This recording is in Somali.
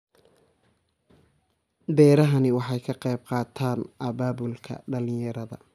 Beerahani waxa ay ka qayb qaataan abaabulka dhalinyarada.